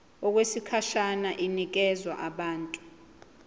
okwesikhashana inikezwa abantu